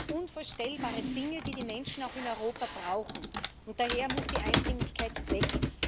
Also unvorstellbare Dinge, die die Menschen auch in Europa brauchen. Und daher muss die Einstimmigkeit weg.